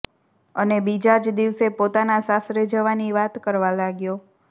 અને બીજા જ દિવસે પોતાના સાસરે જવાની વાત કરવા લાગ્યો